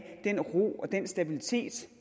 den ro og den stabilitet